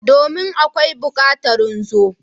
Domin!akawi bukatarin zo.